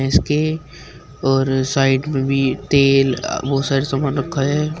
इसके और साइड में भी तेल अ बहुत सारे सामान रखा है।